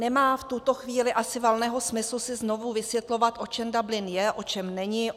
Nemá v tuto chvíli asi valného smyslu si znovu vysvětlovat, o čem Dublin je, o čem není.